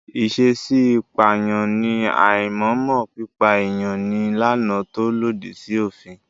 Ìṣèèṣi pààyàn ní àìmọ̀ọ́mọ̀ pípa èèyàn ní làànà tó lòdì sí òfin.